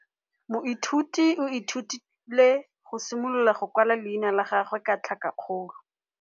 Moithuti o ithutile go simolola go kwala leina la gagwe ka tlhakakgolo.